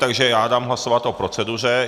Takže já dám hlasovat o proceduře.